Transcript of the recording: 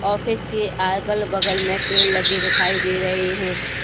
Office के आगल बगल में पेड़ लगे दिखाई दे रहे हैं।